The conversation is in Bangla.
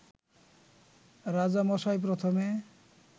রাজামশাই প্রথমে